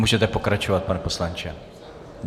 Můžete pokračovat, pane poslanče.